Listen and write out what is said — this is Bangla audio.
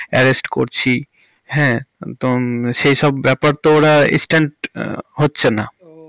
arrest করছি হ্যাঁ তো সে সব ব্যাপার তো ওরা instant হচ্ছে না।